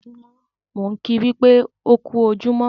Mò ń kìí wípé "ó kú ojúmọ́"